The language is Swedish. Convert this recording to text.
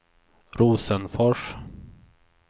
Rosenfors